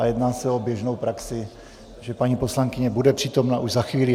A jedná se o běžnou praxi, že paní poslankyně bude přítomna už za chvíli.